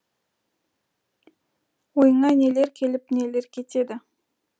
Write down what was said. ойыңа нелер келіп нелер кетеді